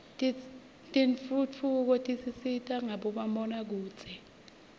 tentfutfuko tisita ngabomabonakudze